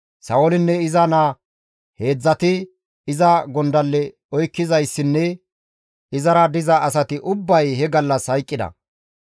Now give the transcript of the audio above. Sa7oolinne iza naa heedzdzati, iza gondalle oykkizayssinne izara diza asati ubbay he gallas hayqqida.